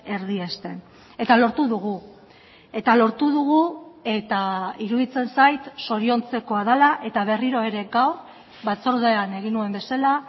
erdiesten eta lortu dugu eta lortu dugu eta iruditzen zait zoriontzekoa dela eta berriro ere gaur batzordean egin nuen bezala